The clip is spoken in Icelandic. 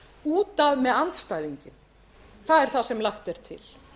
út af með andstæðinginn það er það sem lagt er til